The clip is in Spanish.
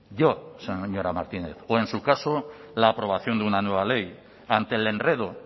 yo señora martínez o en su caso la aprobación de una nueva ley ante el enredo